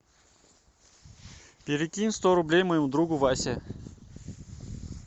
перекинь сто рублей моему другу васе